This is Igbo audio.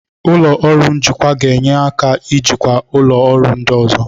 Ụlọ ọrụ njikwa ga-enye aka ijikwa ụlọ ọrụ ndị ọzọ.